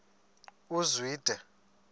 uzwide